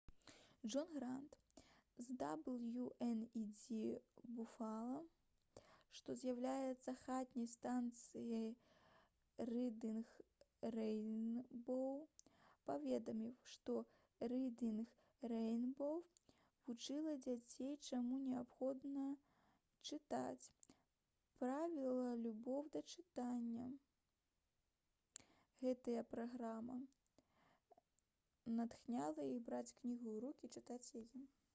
джон грант з «дабл'ю-эн-і-дзі буфала» што з'яўляецца хатняй станцыяй «рыдынг рэйнбоў» паведаміў што «рыдынг рэйнбоў» вучыла дзяцей чаму неабходна чытаць, прывівала любоў да чытання — [гэтая праграма] натхняла іх браць кнігу ў рукі і чытаць яе»